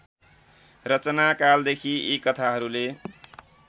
रचनाकालदेखि यी कथाहरूले